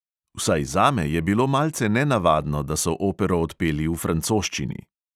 Vsaj zame je bilo malce nenavadno, da so opero odpeli v francoščini.